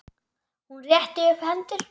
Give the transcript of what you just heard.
Hún rétti upp hendur.